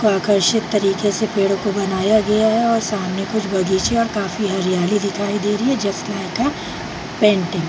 आकर्षित तरीके से पेड़ को बनाया गया है और सामने कुछ बगीचे और काफी हरियाली दिखाई दे रही है जस्ट लाइक अ पेंटिंग ।